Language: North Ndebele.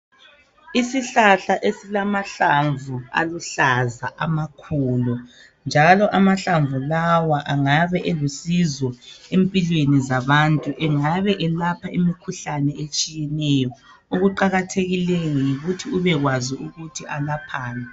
Isihlahla esilamahlamvu aluhlaza amakhulu njalo amahlamvu lawa engabe eluncedo empilweni zabantu engabe elapha imikhuhlane etshiyeneyo okuqakathekileyo yikuthi ubekwazi ukuthi alaphani.